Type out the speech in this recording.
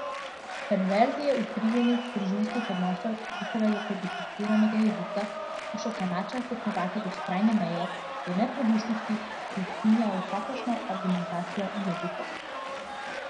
Perverzije utirjenih družinskih odnosov in njihovega kodificiranega jezika skuša Kanadčan stopnjevati do skrajne meje, do neprodušnosti, ki ukinja vsakršno argumentacijo in logiko.